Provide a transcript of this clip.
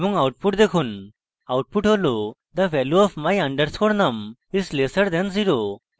এবং output দেখুন output হল the value of my _ num is lesser than 0